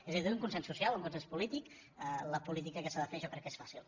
és a dir un consens social un consens polític la política que s’ha de fer jo crec que és fàcil